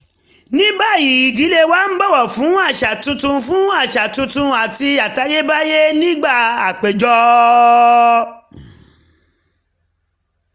ní báyìí ìdílé wa ń bọ̀wọ̀ fún àṣà tuntun fún àṣà tuntun àti àtayébáyé nígbà àpéjọ